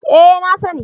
Eh, na sani